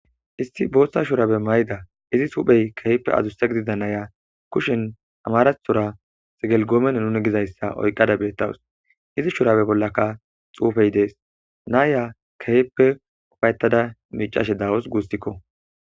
isti booshsa shurabe mayda izi huphey kehipe adzusse gididanaya kushen amarathora segelgoomene nuni gizayssa oyqqada beettawus izi shurabe bollaka xuufey dees naaya kehippe ufayetada miicashe dawus guussikko.